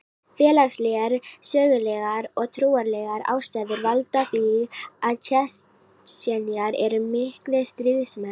Félagslegar, sögulegar og trúarlegar ástæður valda því að Tsjetsjenar eru miklir stríðsmenn.